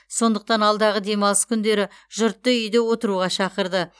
сондықтан алдағы демалыс күндері жұртты үйде отыруға шақырды